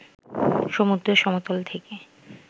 সমুদ্র সমতল থেকে